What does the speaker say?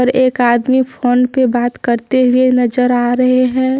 एक आदमी फोन पे बात करते हुए नजर आ रहे है।